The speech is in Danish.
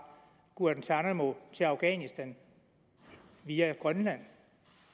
guantánamo til afghanistan via grønland